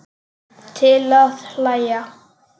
Til að hlæja.